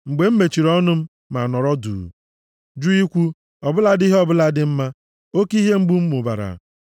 Ma mgbe m mechiri ọnụ m ma nọrọ duu, jụ ikwu ọ bụladị ihe ọbụla dị mma, oke ihe mgbu m mụbara.